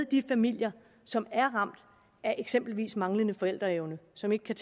de familier som er ramt af eksempelvis manglende forældreevne som ikke kan